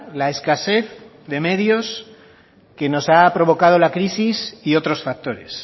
la escasez de medios que nos ha provocado la crisis y otros factores